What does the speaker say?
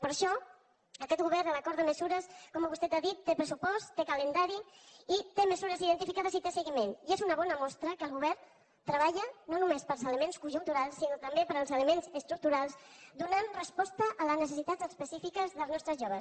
per això aquest govern l’acord de mesures com vostè ha dit té pressupost té calendari i té mesures identificades i té seguiment i és una bona mostra que el govern treballa no només per als elements conjunturals sinó també per als elements estructurals i dóna resposta a les necessitats específiques dels nostres joves